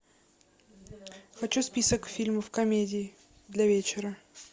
хочу список фильмов комедий для вечера